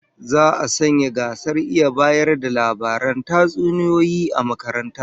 Za'a sanya gasar iya bayar da labaran tatsuniyoyi a makarantar